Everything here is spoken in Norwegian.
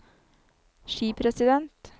skipresident